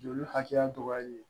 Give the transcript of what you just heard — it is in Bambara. Joli hakɛya dɔgɔyali ye